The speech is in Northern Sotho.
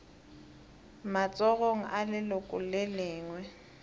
matsogong a leloko le lengwe